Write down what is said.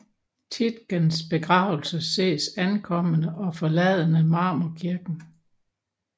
Tietgens begravelse ses ankommende og forladende Marmorkirken